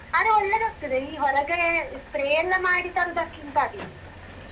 ಆದ್ರೆ ಒಳ್ಳೇದಾಗ್ತದೆ ಈ ಹೊರಗೆ spray ಎಲ್ಲ ಮಾಡಿ ತರುದಕ್ಕಿಂತಾದೀತು.